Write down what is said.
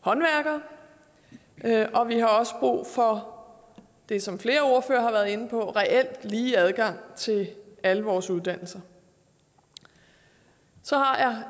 håndværkere og vi har også brug for det som flere ordførere har været inde på reelt lige adgang til alle vores uddannelser så har jeg